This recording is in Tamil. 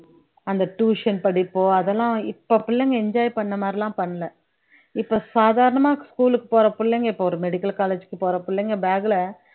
அந்த tuition படிப்பு அதெல்லாம் இப்ப பிள்ளைங்க enjoy பண்ண மாதிரிலாம் பண்ணல இப்ப சாதாரணமா school க்கு போற புள்ளைங்க இப்ப ஒரு medical college க்கு போற புள்ளைங்க bag ல